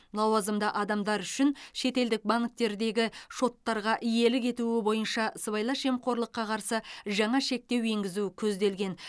лауазымды адамдар үшін шетелдік банктердегі шоттарға иелік етуі бойынша сыбайлас жемқорлыққа қарсы жаңа шектеу енгізу көзделген